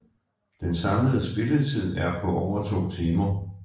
Den samlede spilletid er på over to timer